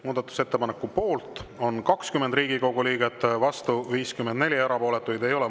Muudatusettepaneku poolt on 20 Riigikogu liiget, vastu 54, erapooletuid ei ole.